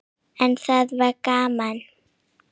En það var gaman.